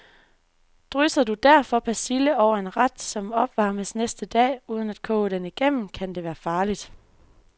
Drysser du derfor persille over en ret, som opvarmes næste dag, uden at koge den igennem, kan det være farligt.